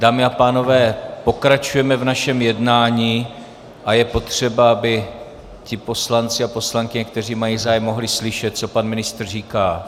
Dámy a pánové, pokračujeme v našem jednání a je potřeba, aby ti poslanci a poslankyně, kteří mají zájem, mohli slyšet, co pan ministr říká.